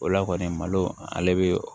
O la kɔni malo ale bɛ